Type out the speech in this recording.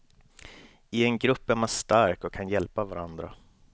I en grupp är man stark och kan hjälpa varandra.